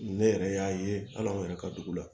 Ne yɛrɛ y'a ye hali anw yɛrɛ ka dugu la